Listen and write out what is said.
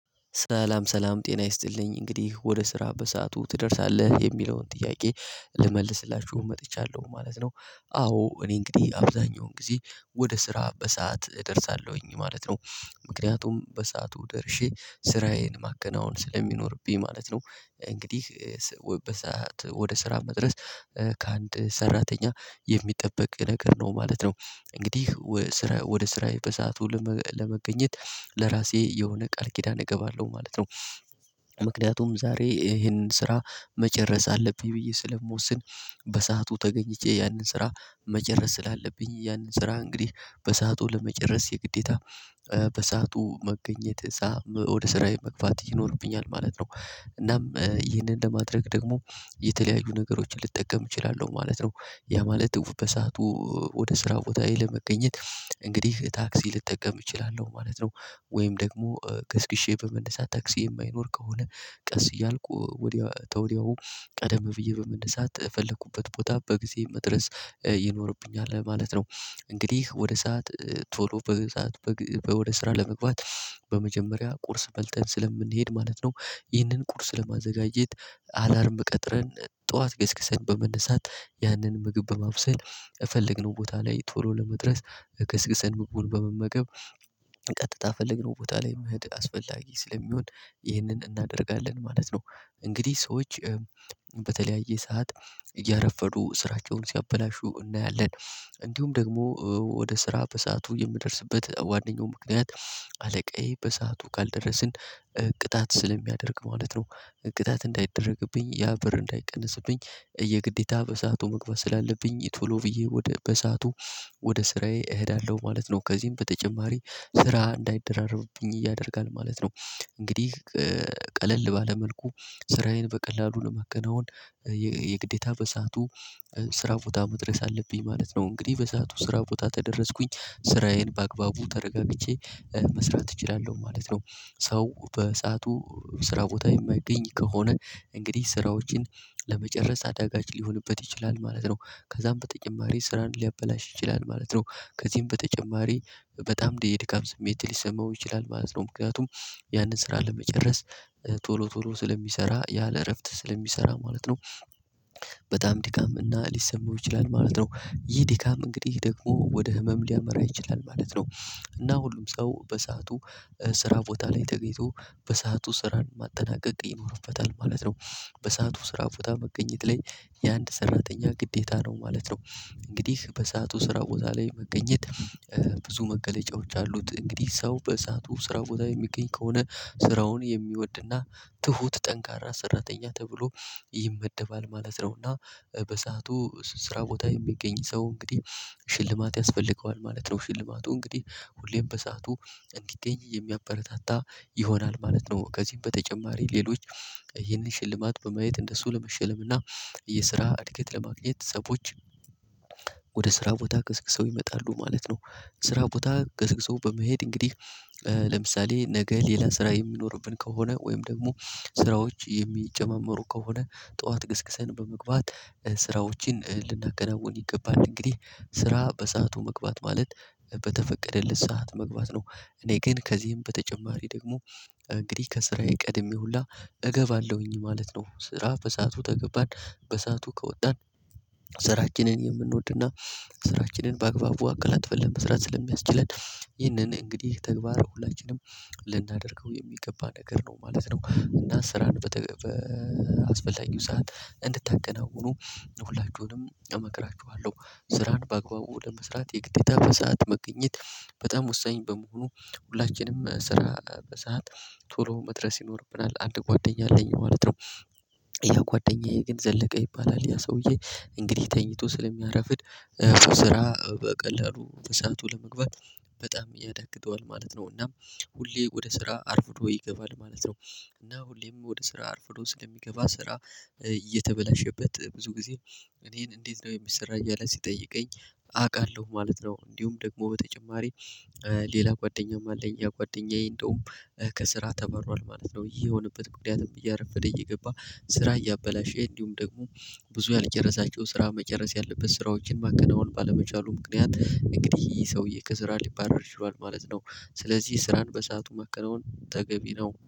ሰላም ሰላም ጤና ይስጥልኝ እንግዲህ ወደ ስራ በሰአቱ ትደርሳለህ የሚለውን ጥያቄ ልመልስላችሁ መጥቻለሁ ማለት ነው። አዎ እኔ እንግዲህ አብዛኛውን ጊዜ ወደ ስራ በሰአት እደርሳለሁኝ ማለት ነው። ምክንያቱም በሰአቱ ደርሼ ስራዬን ማገናወን ስለሚኖርብኝ ማለት ነው። እንግዲህ ሰዓት ወደ ስራ መድረስ ከአንድ ሰራተኛ የሚጠበቅ ነገር ነው ማለት ነው። እንግዲህ ስራ ወደ ስራዬ በሰአቱ ለመገኘት ለራሴ የሆነ ቃል ኪዳን እገባለሁ ማለት ነው። ምክንያቱም ዛሬ ይሄንን ስራ መጨረስ አለብኝ ብዬ ስለምወስን በሰአቱ ተገኝቼ ያንን ስራ መጨረስ ስላለብኝ ያንን ስራ እንግዲህ በሰአቱ ለመጨረስ የግዴታ በሰአቱ መገኘት ወደ ስራዬ መግባት ይኖርብኛል ማለት ነው። እናም ይህንን ለማድረግ ደግሞ የተለያዩ ነገሮችን ልጠቀም እችላለሁ ማለት ነው። ያ ማለት እውቅ በሰአቱ ወደ ስራ ቦታ ላይ ለመገኘት እንግዲህ ታክሲ ልጠቀም እችላለሁ ማለት ነው። ወይም ደግሞ ገስግሼ በመነሳት ታክሲ የማይኖር ከሆነ ቀስ እያልኩ ወዲያው ተወዲያው ቀደም ብዬ በመነሳት ፈለኩበት ቦታ በጊዜ መድረስ ይኖርብኛል ማለት ነው። እንግዲህ ወደ ሰዓት ቶሎ በሰአት ወደ ስራ ለመግባት በመጀመሪያ ቁርስ በልተን ስለምንሄድ ማለት ነው። ይህንን ቁርስ ለማዘጋጀት አላርም ቀጥረን ጠዋት ገስግሰን በመነሳት ያንን ምግብ በማብሰል እፈልግነው ቦታ ላይ ቶሎ ለመድረስ ገስግሰን ምግቡን በመመገብ ቀጥታ ፈልግነው ቦታ ላይ መሄድ አስፈላጊ ስለሚሆን ይህንን እናደርጋለን ማለት ነው። እንግዲህ ሰዎች በተለያየ ሰዓት እያረፈዱ ስራቸውን ሲያበላሹ እናያለን። እንዲሁም ደግሞ ወደ ስራ በሰአቱ የምደርስበት ዋናው ምክንያት አለቃዬ በሰአቱ ካልደረስን ቅጣት ስለሚያደርግ ማለት ነው። ቅጣት እንዳይደረግብኝ ያ ብር እንዳይቀነስብኝ የግዴታ በሰአቱ መግባት ስላለብኝ ቶሎ ብዬ ወደ በሰአቱ ወደ ስራዬ እሄዳለሁ ማለት ነው። ከዚህም በተጨማሪ ስራ እንዳይደራረብብኝ እያደረጋል ማለት ነው። እንግዲህ ቀለል ባለ መልኩ ስራዬን በቀላሉ ለመከናወን የግዴታ በሰአቱ ስራ ቦታ መድረስ አለብኝ ማለት ነው። እንግዲህ በሰአቱ ስራ ቦታ ተደረስኩኝ ስራዬን በአግባቡ ተረጋግቼ መስራት እችላለሁ ማለት ነው። ሰው በሰአቱ ስራ ቦታ የሚገኝ ከሆነ እንግዲህ ስራዎችን ለመጨረስ አዳጋች ሊሆንበት ይችላል ማለት ነው። ከዛም በተጨማሪ ስራን ሊያበላሽ ይችላል ማለት ነው። ከዚህም በተጨማሪ በጣም ድካም ስሜት ሊሰማው ይችላል ማለት ነው ምክንያቱም ያንን ስራ ለመጨረስ ቶሎ ቶሎ ስለሚሰራ ያለ እረፍት ስለሚሰራ ማለት ነው። በጣም ድካም እና ሊሰማው ይችላል ማለት ነው ይህ ድካም እንግዲህ ደግሞ ወደ ህመም ሊያመራ ይችላል ማለት ነው። እና ሁሉም ሰው በሰአቱ ስራ ቦታ ላይ ተገኝቶ በሰአቱ ስራን ማጠናቀቅ ይኖርበታል ማለት ነው። በሰአቱ ስራ ቦታ መገኘት ላይ የአንድ ሰራተኛ ግዴታ ነው ማለት ነው። እንግዲህ በሰአቱ ስራ ቦታ ላይ መገኘት ብዙ መገለጫዎች አሉት እንግዲህ ሰው በሰአቱ ስራ ቦታ የሚገኝ ከሆነ ስራውን የሚወድና ትሁት ጠንካራ ሰራተኛ ተብሎ ይመደባል ማለት ነውና። በሰአቱ ስራ ቦታ የሚገኝ ሰው እንግዲህ ሽልማት ያስፈልገዋል ማለት ነው ሽልማቱ እንግዲህ ሁሌም በሰአቱ እንዲገኝ የሚያበረታታ ይሆናል ማለት ነው። ከዚህም በተጨማሪ ሌሎች ይህንን ሽልማት በማየት እንደሱ ለመሸለም እና የስራ እድገት ለማግኘት ሰዎች ወደ ስራ ቦታ ቅስቅሰው ይመጣሉ ማለት ነው። ስራ ቦታ ገስግሶ በመሄድ እንግዲህ ለምሳሌ ነገ ሌላ ስራ የምኖርብን ከሆነ ወይም ደግሞ ስራዎች የሚጨመመሩ ከሆነ ጠዋት ገስግሰን በመግባት ስራዎችን ልናከናውን ይገባል እንግዲህ ስራ በሰአቱ መግባት ማለት በተፈቀደለት ሰዓት መግባት ነው። እኔ ግን ከዚህም በተጨማሪ ደግሞ እንግዲህ ከስራዬ ቀድሜ ሁላ እገባለሁኝ ማለት ነው። ስራ በሰአቱ ተገባን በሰአቱ ከወጣን ስራችንን የምንወድና ስራችንን በአግባቡ አቀላጥፈን ለመስራት ስለሚያስችለን ይህንን እንግዲህ ተግባር ሁላችንም ልናደርገው የሚገባ ነገር ነው ማለት ነው። እና ስራን በተገበ አስፈላጊው ሰዓት እንድታገናውኑ ሁላችሁንም እመክራችኋለሁ ስራን በአግባቡ ለመስራት የግዴታ በሰአት መገኘት። በጣም ወሳኝ በመሆኑ ሁላችንም ስራ በሰአት ቶሎ መድረስ ይኖርብናል አንድ ጓደኛ አለኝ ማለት ነው። የጓደኛዬ ግን ዘለቀ ይባላል ያ ሰውዬ እንግዲህ ተኝቶ ስለሚያረፍድ ስራ በቀላሉ ተሳቱ ለመግባት በጣም ያዳግጠዋል ማለት ነው። እና ሁሌ ወደ ስራ አርፍዶ ይገባል ማለት ነው። እና ሁሌም ወደ ስራ አርፍዶ ስለሚገባ ስራ እየተበላሸበት ብዙ ጊዜ እኔን እንዴት ነው የምሰራው እያለ ሲጠይቀኝ አውቃለሁ ማለት ነው። እንዲሁም ደግሞ በተጨማሪ ሌላ ጓደኛም አለኝ ያ ጓደኛየ እንደውም ከስራ ተበሯል ማለት ነው። ይሄ የሆነበት ምክንያቱም እያረፈደ እየገባ ስራ እያበላሸ እንዲሁም ደግሞ ብዙ ያልጨረሳቸው ስራ መጨረስ ያለበት ስራዎችን ማገናወን ባለመቻሉ ምክንያት እንግዲህ ይሄ ሰውዬ ከስራ ሊባረር ችሏል ማለት ነው። ስለዚህ ስራን በሰአቱ ማከነዎን ተገቢ ነው